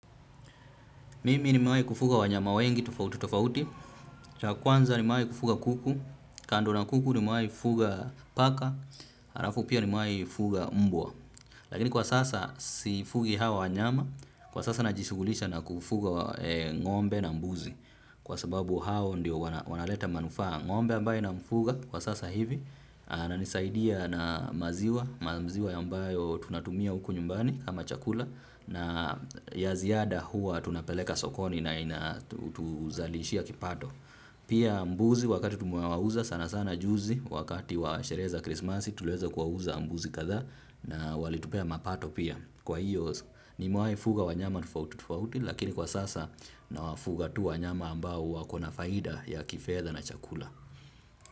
Mimi nimimewai kufuga wanyama wengi tofauti tofauti. Cha kwanza nimewai kufuga kuku, kando na kuku nimewai kufuga paka, halafu pia nimewai fuga mbwa. Lakini kwa sasa sifugi hawa wanyama. Kwa sasa najishughulisha na kufuga ng'ombe na mbuzi. Kwa sababu hao ndiyo wanaleta manufaa. Ng'ombe ambaye namfuga kwa sasa hivi, inanisaidia na maziwa. Maziwa ambayo tunatumia huku nyumbani kama chakula, na ya ziada hua tunapeleka sokoni na ina tuzalishia kipato. Pia mbuzi wakati tumewauza sana sana juzi wakati wa sherehe za Krismasi tuliweza kuwauza mbuzi kadhaa, na walitupea mapato pia. Kwa hiyo nimewaifuga wanyama tofauti tofauti lakini kwa sasa nawafuga tu wanyama ambao wako na faida ya kifedha na chakula.